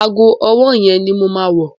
Ago ọwọ́ yẹn ni mo máa wọ̀.